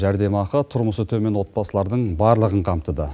жәрдемақылар тұрмысы төмен отбасылардың барлығын қамтыды